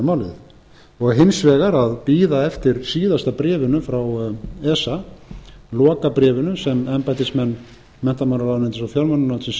málið hins vegar að bíða eftir síðasta bréfinu frá esa lokabréfinu sem embættismenn menntamálaráðuneytis og fjármálaráðuneytis